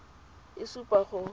a le supa a go